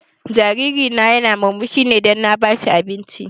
Jariri na ya na murmushi ne dan na ba shi abinci